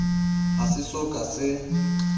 ha se so ka se